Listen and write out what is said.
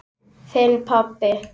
Þinn, pabbi.